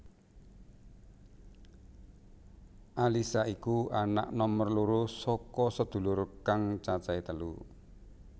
Alyssa iku anak nomer loro saka sedulur kang cacahé telu